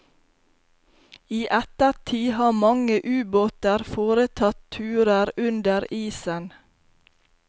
I ettertid har mange ubåter foretatt turer under isen.